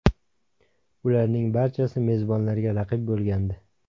Ularning barchasi mezbonlarga raqib bo‘lgandi.